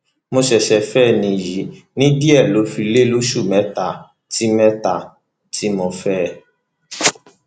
mo ṣẹṣẹ fẹ níyì ní díẹ ló fi lé lóṣù mẹta tí mẹta tí mo fẹ ẹ